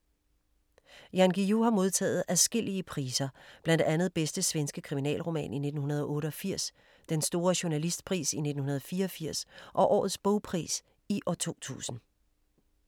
Jan Guillou har modtaget adskillige priser, blandt andet Bedste svenske kriminalroman i 1988, Den store journalistpris i 1984 og Årets bogpris i 2000.